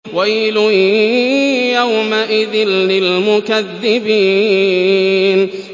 وَيْلٌ يَوْمَئِذٍ لِّلْمُكَذِّبِينَ